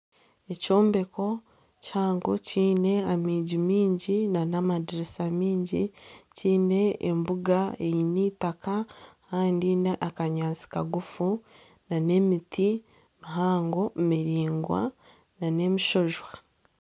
Ekyombeko kihango kyine amiigi mingi na n'amadirisa miingi kyiine embuga eyine itaka kandi n'akanyaatsi kagufu na n'emiti mihango miringwa na n'emishwojwa.